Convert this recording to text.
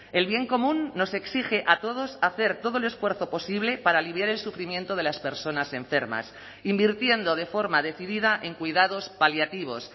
el bien común nos exige a todos hacer todo el esfuerzo posible para aliviar el sufrimiento de las personas enfermas invirtiendo de forma decidida en cuidados paliativos